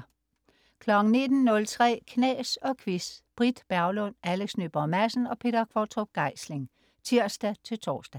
19.03 Knas og Quiz. Britt Berglund, Alex Nyborg Madsen og Peter Qvortrup Geisling (tirs-tors)